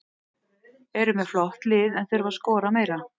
Eru með flott lið en þurfa að skora meira.